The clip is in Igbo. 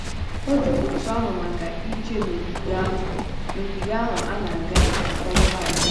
Ọ dị otú ahụ maka ije n'ogige ahụ n'ogige ahụ a na-aga iji kwanyere ala ugwu.